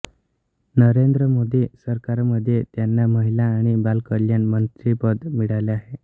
नरेंद्र मोदी सरकारमध्ये त्यांना महिला आणि बालकल्याण मंत्रीपद मिळाले आहे